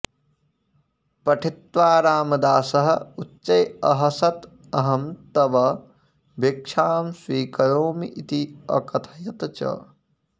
पठित्वा रामदासः उच्चैः अहसत् अहं तव भीक्षां स्वीकरोमि इति अकथयत् च